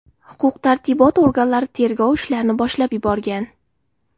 Huquq-tartibot organlari tergov ishlarini boshlab yuborgan.